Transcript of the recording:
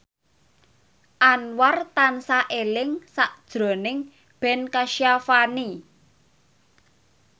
Anwar tansah eling sakjroning Ben Kasyafani